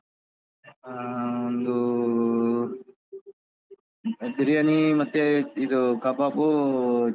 ಹಾ ಒಂದು veg ಬಿರಿಯಾನಿ ಮತ್ತೆ ಇದು ಕಬಾಬ್.